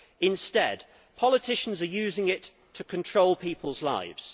Instead politicians are using it to control people's lives.